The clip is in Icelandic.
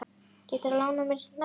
Geturðu lánað mér einn nagla.